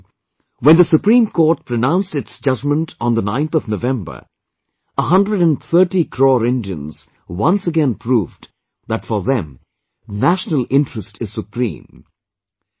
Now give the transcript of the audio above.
This time too, when the Supreme Court pronounced its judgment on 9th November, 130 crore Indians once again proved, that for them, national interest is supreme